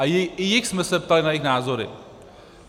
A i jich jsme se ptali na jejich názory.